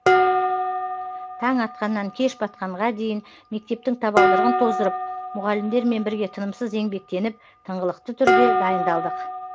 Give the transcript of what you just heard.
таң атқаннан кеш батқанға дейін мектептің табалдырығын тоздырып мұғалімдермен бірге тынымсыз еңбектеніп тыңғылықты түрде дайындалдық